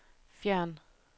fjern